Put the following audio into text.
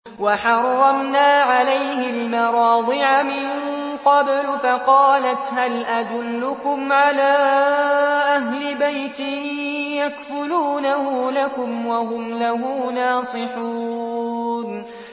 ۞ وَحَرَّمْنَا عَلَيْهِ الْمَرَاضِعَ مِن قَبْلُ فَقَالَتْ هَلْ أَدُلُّكُمْ عَلَىٰ أَهْلِ بَيْتٍ يَكْفُلُونَهُ لَكُمْ وَهُمْ لَهُ نَاصِحُونَ